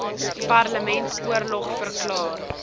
parlement oorlog verklaar